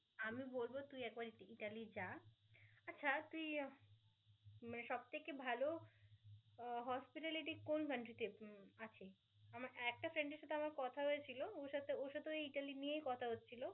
Italy যা আচ্ছা তুই মানে সব থেকে ভাল hospitality কোন country তে আছে আমার একটা friend এর সাথে আমার কথা হয়েছিল ওর সাথে ওর সাথে ওই ইতালি নিয়েই কথা হচ্ছিল ও আবার আয়া~